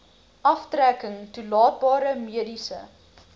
aftrekking toelaatbare mediese